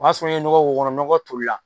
O y'a sɔrɔ n ye nɔgɔ k'o kɔnɔ nɔgɔ tolila